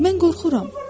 Mən qorxuram.